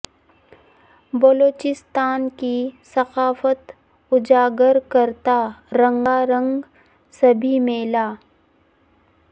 بلوچستان کی ثقافت اجاگر کرتا رنگا رنگ سبی میلہ